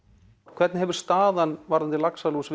hvernig hefur staðan varðandi laxalús